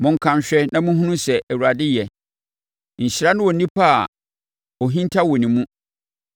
Monka nhwɛ na monhunu sɛ Awurade yɛ. Nhyira ne onipa a ɔhinta wɔ ne mu.